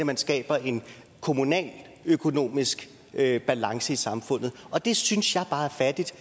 man skaber en kommunaløkonomisk balance i samfundet og det synes jeg bare er fattigt